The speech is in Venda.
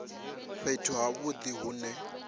fhethu ha vhudi hu ne